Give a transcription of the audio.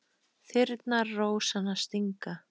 Þyrnar rósanna stinga.